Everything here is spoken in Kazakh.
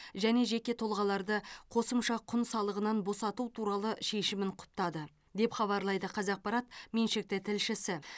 және жеке тұлғаларды қосымша құн салығынан босату туралы шешімін құптады деп хабарлайды қазақпарат меншікті тілшісі